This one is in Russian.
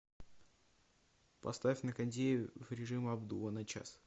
поставь на кондее в режим обдува на час